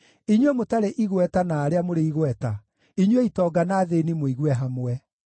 inyuĩ mũtarĩ igweta na arĩa mũrĩ igweta, inyuĩ itonga na athĩĩni mũigue hamwe: